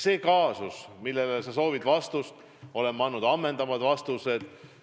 Selle juhtumi kohta, mille kohta sa küsisid, olen ma andnud ammendavad vastused.